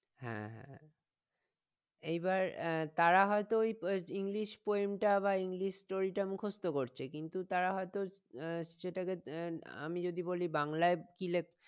হ্যাঁ হ্যাঁ এবার আহ তারা হইত ওই english poem বা english story টা মুখস্থ করতে কিন্তু তারা হইত আহ সেটাকে আহ আমি যদি বলি বাংলাই কি লেখ